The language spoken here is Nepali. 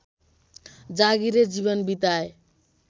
जागीरे जीवन बिताए